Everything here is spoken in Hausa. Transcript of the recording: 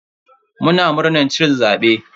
Muna murnan cin zabe.